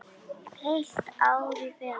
Heilt ár í felum.